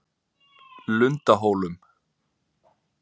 Lundahólum